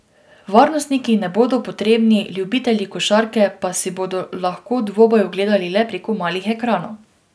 Varnostniki ne bodo potrebni, ljubitelji košarke pa si bodo lahko dvoboj ogledali le preko malih ekranov.